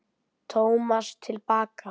Tómas til baka.